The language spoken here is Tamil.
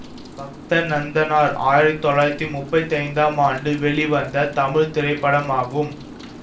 பக்த நந்தனார் ஆயிரத்தி தொள்ளாயிரத்தி முப்பத்தி ஐந்தாம் ஆண்டு வெளிவந்த தமிழ் திரைப்படமாகும்